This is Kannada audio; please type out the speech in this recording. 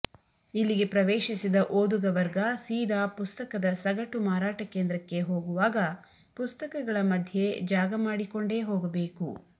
ಇಲ್ಲಿಗೆ ಪ್ರವೇಶಿಸಿದ ಓದುಗ ವರ್ಗ ಸೀದಾ ಪುಸ್ತಕದ ಸಗಟು ಮಾರಾಟ ಕೇಂದ್ರಕ್ಕೆ ಹೋಗುವಾಗ ಪುಸ್ತಕಗಳ ಮಧ್ಯೆ ಜಾಗ ಮಾಡಿಕೊಂಡೇ ಹೋಗಬೇಕು